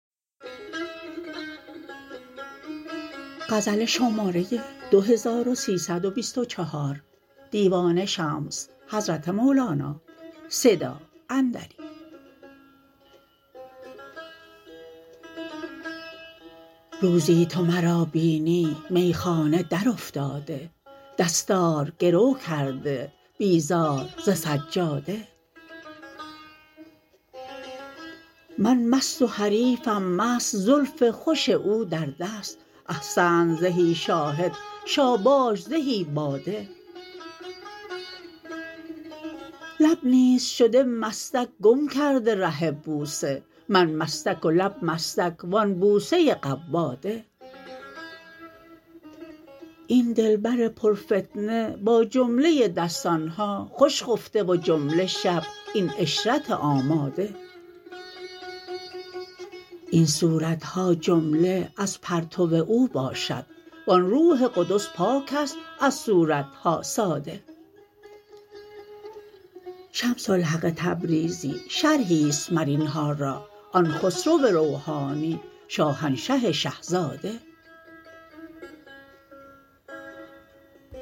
روزی تو مرا بینی میخانه درافتاده دستار گرو کرده بیزار ز سجاده من مست و حریفم مست زلف خوش او در دست احسنت زهی شاهد شاباش زهی باده لب نیز شده مستک گم کرده ره بوسه من مستک و لب مستک و آن بوسه قواده این دلبر پرفتنه با جمله دستان ها خوش خفته و جمله شب این عشرت آماده این صورت ها جمله از پرتو او باشد و آن روح قدس پاک است از صورت ها ساده شمس الحق تبریزی شرحی است مر این ها را آن خسرو روحانی شاهنشه شه زاده